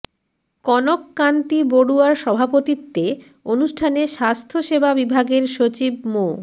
কনক কান্তি বড়ুয়ার সভাপতিত্বে অনুষ্ঠানে স্বাস্থ্যসেবা বিভাগের সচিব মো